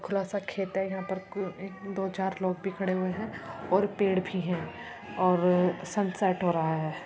खुला सा खेत हैं। यहाँ पर दो चार लोग भी खड़े हुए हैं और पेड़ भी हैं और सनसेट हो रहा है।